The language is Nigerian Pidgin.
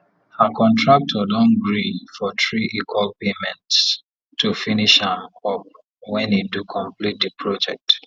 her contractor don gree for three equal paymentsto finish am up when e do complete the project